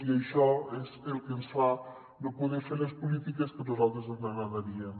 i això és el que ens fa no poder fer les polítiques que a nosaltres ens agradarien